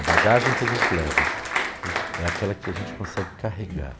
A bagagem que a gente leva é aquela que a gente consegue carregar.